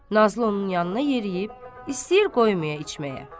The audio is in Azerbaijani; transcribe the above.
Nazlı onun yanına yeriyib, istəyir qoymaya içməyə.